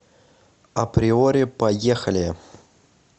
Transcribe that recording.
априори поехали